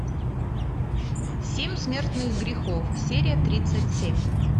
семь смертных грехов серия тридцать семь